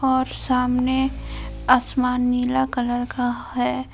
और सामने आसमान नीला कलर का है।